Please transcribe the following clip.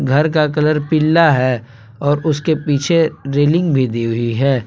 घर का कलर पिला है और उसके पीछे रेलिंग भी दी हुई है।